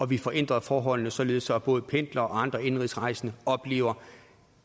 vi får ændret forholdene således at både pendlere og andre indenrigsrejsende oplever